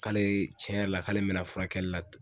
K'ale tiɲɛ yɛrɛ la k'ale bɛna furakɛli la.